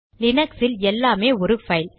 லினக்ஸில் எல்லாமே ஒரு பைல்